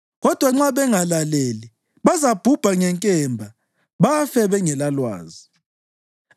Kodwa nxa bengalaleli, bazabhubha ngenkemba, bafe bengelalwazi.